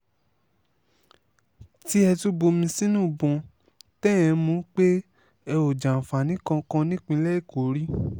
tí ẹ tún bomi sínú ìbọn tẹ́ ẹ̀ ń mú un pé ẹ ò jàǹfààní kankan nípínlẹ̀ èkó rí